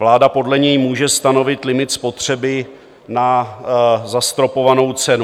Vláda podle něj může stanovit limit spotřeby na zastropovanou cenu.